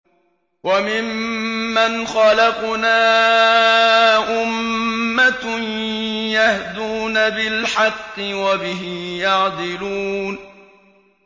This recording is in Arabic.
وَمِمَّنْ خَلَقْنَا أُمَّةٌ يَهْدُونَ بِالْحَقِّ وَبِهِ يَعْدِلُونَ